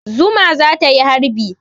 Zuma za ta yi harbi.